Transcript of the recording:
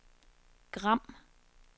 Gram